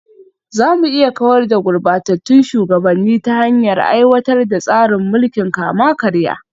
Za mu iya kawar da gurbatattun shugabanni ta hanyar aiwatar da tsarin mulkin kama-karya